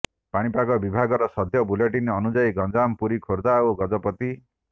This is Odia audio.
ପାଣିପାଗ ବିଭାଗର ସଦ୍ୟ ବୁଲେଟିନ୍ ଅନୁଯାୟୀ ଗଞ୍ଜାମ ପୁରୀ ଖୋର୍ଦ୍ଧା ଓ ଗଜପତି